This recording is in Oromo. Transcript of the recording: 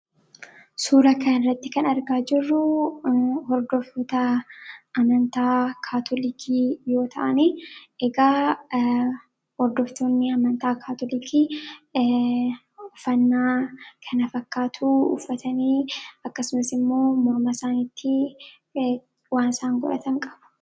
suura kan irratti kan argaa jirruu hordofota amantaa kaatolikii yoota'ani egaa hordoftoonni amantaa kaatolikii ufannaa kana fakkaatuu uufatanii akkasumas immoo morma isaanitti waan saan godhatan qabu